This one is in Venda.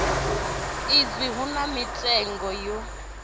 izwi hu na mitengo yo